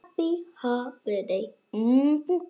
Frænkan kom til okkar.